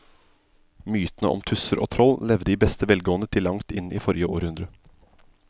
Mytene om tusser og troll levde i beste velgående til langt inn i forrige århundre.